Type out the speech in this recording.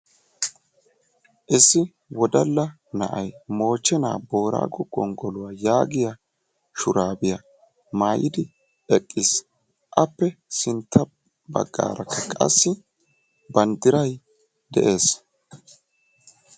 Issi wodalla na"ay "moochche naa boorago gonggoluwa" yaagiya shuraabiya mayidi eqqis. Appe sintta baggaarakka qassi banddiray de'es.